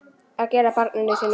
Að gera barninu sínu þetta!